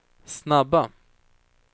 snabba